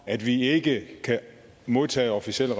at vi ikke kan modtage officielle